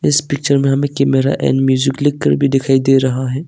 इस पिक्चर में हमें कैमरा एंड म्यूजिक लिखकर भी दिखाई दे रहा है।